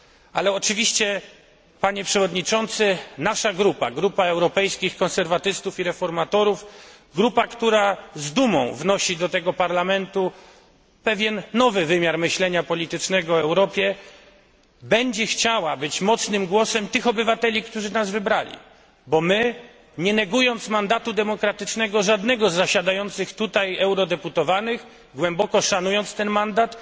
Ale oczywiście, panie przewodniczący, nasza grupa, Grupa Europejskich Konserwatystów i Reformatorów, grupa, która z dumą wnosi do tego Parlamentu pewien nowy wymiar myślenia politycznego o Europie, będzie chciała być mocnym głosem tych obywateli, którzy nas wybrali, bo my, nie negując mandatu demokratycznego żadnego z zasiadających tutaj eurodeputowanych, głęboko szanując ten mandat,